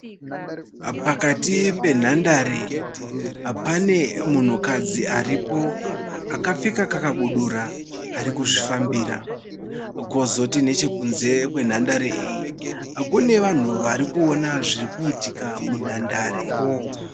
Pakati penhandare, pane munhukadzi aripo akapfeka kakabudura arikuzvifambira. Kwozoti nechekunze kwenhandare iyi kune vanhu varikuona zvirikuitika munhandare.